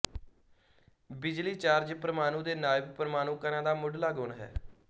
ਬਿਜਲੀ ਚਾਰਜ ਪਰਮਾਣੂ ਦੇ ਨਾਇਬ ਪਰਮਾਣੂ ਕਣਾਂ ਦਾ ਮੁੱਢਲਾ ਗੁਣ ਹੈ